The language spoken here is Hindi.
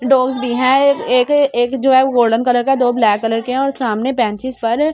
डॉगस भी है एक एक एक जो है गोल्डन कलर का है दो ब्लैक कलर के है और सामने बेंचेस पर --